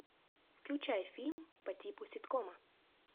включай фильм по типу ситкома